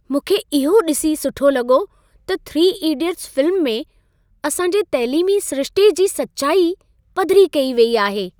मूंखे इहो ॾिसी सुठो लॻो त "3 इडियट्स" फ़िल्म में असांजे तैलीमी सिरिश्ते जी सचाई पधिरी कई वेई आहे।